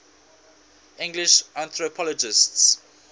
english anthropologists